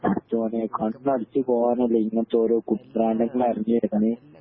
പടച്ചോനെ കണ്ണടിച്ച്‌ പോവനല്ലെ ഇങ്ങനത്തെ ഓരോ